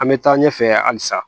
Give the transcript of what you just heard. An bɛ taa ɲɛfɛ halisa